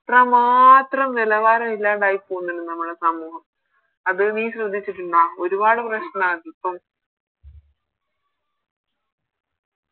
അത്രമാത്രം നിലവാരം ഇല്ലാണ്ടായി പോവുന്നുണ്ട് നമ്മുടെ സമൂഹം അത് നീ ശ്രദ്ധിച്ചിട്ടുണ്ടാ ഒരുപാട് പ്രശ്നന്ന് ഇപ്പോം